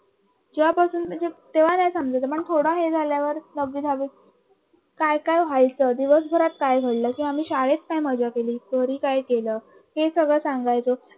जेव्हा पासून म्हणजे तेव्हा नाही समजायचं पण थोड हे झाल्यावर लगेच काय काय व्चाहायचं दिवसभरात काय घडलं कि आम्ही शाळेत काय मजा केली घरी काय केलं ते सगळं सांगायचं